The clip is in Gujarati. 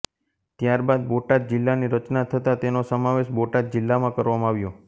ત્યારબાદ બોટાદ જિલ્લાની રચના થતા તેનો સમાવેશ બોટાદ જિલ્લામાં કરવામાં આવ્યો